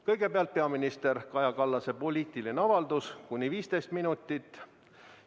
Kõigepealt on peaminister Kaja Kallase poliitiline avaldus kuni 15 minutit.